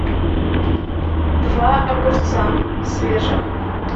два огурца свежих